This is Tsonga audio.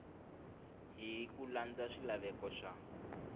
hi ku landza swilaveko swa